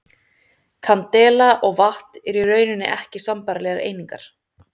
Kandela og vatt eru í rauninni ekki sambærilegar einingar.